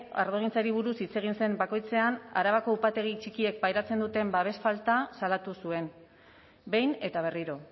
ardogintzari buruz hitz egin zen bakoitzean arabako upategi txikiek pairatzen duten babes falta salatu zuen behin eta berriro